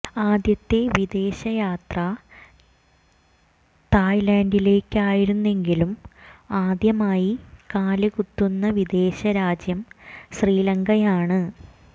ആദ്യത്തെ വിദേശയാത്ര തായ്ലന്ഡിലേക്കായിരുന്നെങ്കിലും ആദ്യമായി കാലു കുത്തുന്ന വിദേശ രാജ്യം ശ്രീലങ്കയാണ്